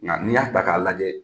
Nka i y'a ta k'a lajɛ